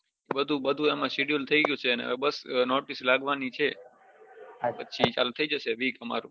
બઘુ schedule થઈ ગયું છે બસ હવે notice લાગવાની છે પછી ચાલુ થી જશે week અમારું